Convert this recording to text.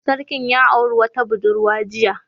Sarkin ya auri wata budurwa jiya